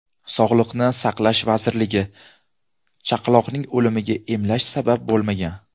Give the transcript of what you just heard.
Sog‘liqni saqlash vazirligi: Chaqaloqning o‘limiga emlash sabab bo‘lmagan.